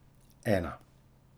Ena.